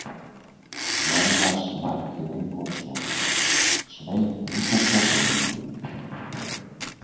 Jónas Margeir Ingólfsson: Sveik ríkisstjórnin ykkur?